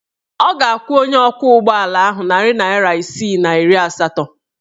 Ọ ga-akwụ onye ọkwọụgbọala ahụ narị naịra isii na iri asatọ.